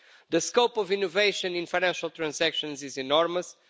The scope of innovation in financial transactions is enormous.